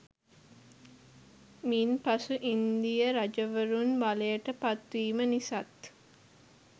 මින් පසු ඉන්දීය රජවරුන් බලයට පත්වීම නිසාත්